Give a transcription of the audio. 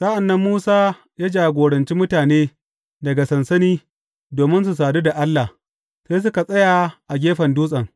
Sa’an nan Musa ya jagoranci mutane daga sansani domin su sadu da Allah, sai suka tsaya a gefen dutsen.